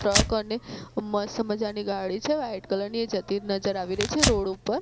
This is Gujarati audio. ટ્રક અને મસ્ત મજાની ગાડી છે વ્હાઇટ કલર ની એ જતી નજર આવી રહી છે રોડ ઉપર.